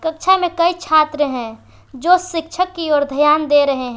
कक्षा में कई छात्र हैं जो शिक्षक की ओर ध्यान दे रहे हैं।